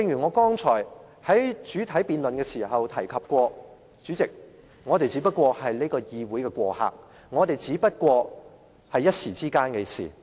我剛才在主體辯論時指出，我們只是立法會的過客，今天的事也只是一時間的事。